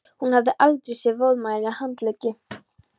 Hún hafði aldrei séð vöðvameiri handleggi.